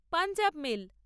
Punjab mail